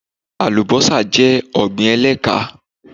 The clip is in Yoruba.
Alubọ́sá jẹ́ ọ̀gbín ẹ̀lẹ́kán